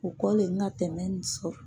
U kɔ le n ka tɛmɛ nin sɔrɔ.